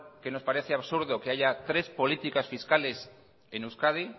que nos parece absurdo que haya tres políticas fiscales en euskadi